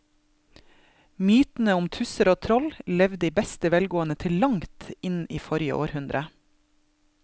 Mytene om tusser og troll levde i beste velgående til langt inn i forrige århundre.